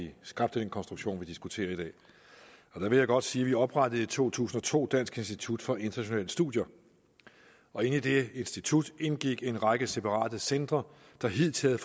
vi skabte den konstruktion vi diskuterer i dag og der vil jeg godt sige at vi oprettede i to tusind og to dansk institut for internationale studier og i det institut indgik en række separate centre der hidtil